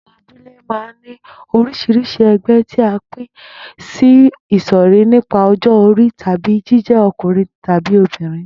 Àwo̩n abúlé máa ń ní orís̩irís̩i e̩gbé̩ tí a pín sí ìsò̩rí nípa o̩jó̩ orí tàbí jíjé̩ o̩kùnrin tábí obìnrin